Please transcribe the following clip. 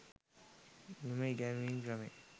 මෙම ඉගැන්වීම් ක්‍රමය